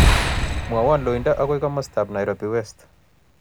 Mwawon loindo agoi komostap nairobi west